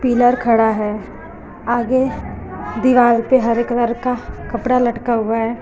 Pillar खड़ा है आगे दीवार पर हरे कलर का कपड़ा लटका हुआ है।